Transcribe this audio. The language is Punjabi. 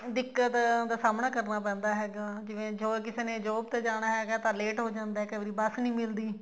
ਦਿੱਕਤ ਦਾ ਸਾਹਮਣਾ ਕਰਨਾ ਪੈਂਦਾ ਹੈਗਾ ਜਾਂ ਜੋ ਕਿਸੇ ਨੇ job ਤੇ ਜਾਣਾ ਹੈਗਾ ਤਾਂ late ਹੋ ਜਾਂਦਾ ਕਈ ਵਾਰੀ ਬੱਸ ਨੀ ਮਿਲਦੀ